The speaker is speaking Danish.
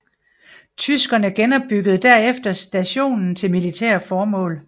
Tyskerne genopbyggede derefter stationen til militære formål